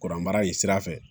Kuranbaara in sira fɛ